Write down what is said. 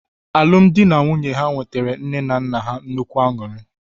Alụmdi na nwunye ha wetara nne na nna ha nnukwu aṅụrị.